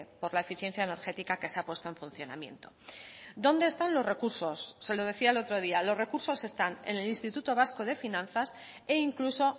por la eficiencia energética que se ha puesto en funcionamiento dónde están los recursos se lo decía el otro día los recursos están en el instituto vasco de finanzas e incluso